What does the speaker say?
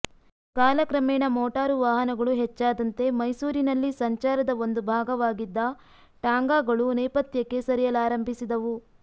ಕಾಲಕ್ರಮೇಣ ಮೋಟಾರು ವಾಹನಗಳು ಹೆಚ್ಚಾದಂತೆ ಮೈಸೂರಿನಲ್ಲಿ ಸಂಚಾರದ ಒಂದು ಭಾಗವಾಗಿದ್ದ ಟಾಂಗಾಗಳು ನೇಪಥ್ಯಕ್ಕೆ ಸರಿಯಲಾರಂಭಿಸಿದವು